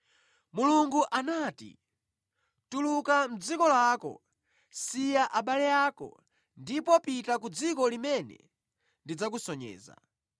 Mulungu anati, ‘Tuluka mʼdziko lako, siya abale ako, ndipo pita ku dziko limene ndidzakusonyeza.’